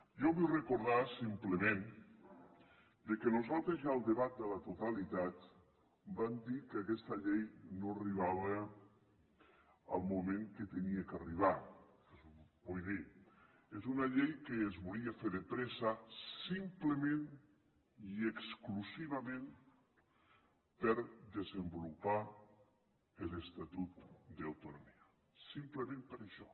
jo vull recordar simplement que nosaltres ja en el debat de la totalitat vam dir que aquesta llei no arribava al moment que havia d’arribar vull dir que és una llei que es volia fer de pressa simplement i exclusivament per desenvolupar l’estatut d’autonomia simplement per això